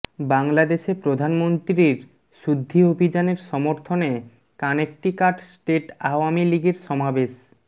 বাংলাদেশে প্রধানমন্ত্রীর শুদ্ধি অভিযানের সমর্থনে কানেকটিকাট স্টেট আওয়ামী লীগের সমাবেশ